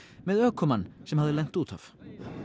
með ökumann sem hafði lent út af